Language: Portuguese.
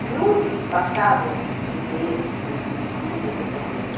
Miúdos passavam os tripeiros que vendiam o fígado, essas coisas.